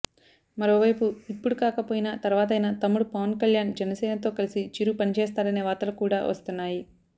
మరోవైపు ఇప్పుడు కాకపోయినా తర్వాతైనా తమ్ముడు పవన్ కల్యాణ్ జనసేనతో కలిసి చిరు పని చేస్తాడనే వార్తలు కూడా వస్తున్నాయి